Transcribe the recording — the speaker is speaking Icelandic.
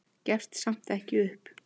Gefst samt ekki upp.